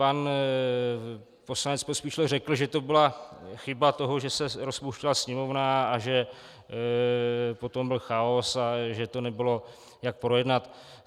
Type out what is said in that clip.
Pan poslanec Pospíšil řekl, že to byla chyba toho, že se rozpouštěla Sněmovna a že potom byl chaos a že to nebylo jak projednat.